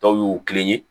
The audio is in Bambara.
Dɔw y'u kelen ye